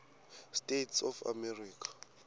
states of america